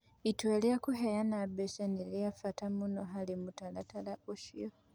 Itua rĩa kũheana mbeca nĩ rĩa bata mũno harĩ mũtaratara ũcio.